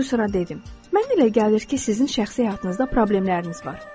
Prodüserə dedim: Mənə elə gəlir ki, sizin şəxsi həyatınızda problemləriniz var.